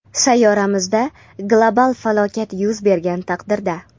Sayyoramizda global falokat yuz bergan taqdirda.